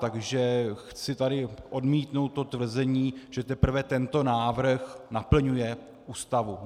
Takže chci tady odmítnout to tvrzení, že teprve tento návrh naplňuje Ústavu.